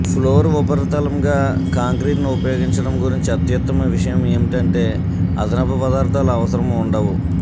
floor ఉపరితలం గా కాంక్రీటును ఉపయోగించడం గురించి అత్యుత్తమ విషయం ఏమిటంటే అదనపు పదార్థాలు అవసరం ఉండవు